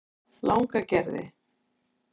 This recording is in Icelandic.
Langagerði